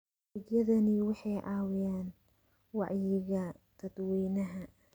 Adeegyadani waxay caawiyaan wacyiga dadweynaha.